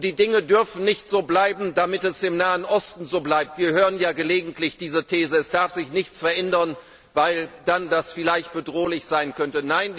Die Dinge dürfen nicht so bleiben, damit es im Nahen Osten so bleibt wir hören ja gelegentlich diese These Es darf sich nichts verändern, weil das dann vielleicht bedrohlich sein könnte.